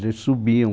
Quer dizer subiam.